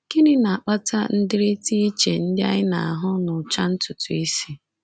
Gịnị na-akpata ndịrịta iche ndị anyị na-ahụ n’ụcha ntutu isi?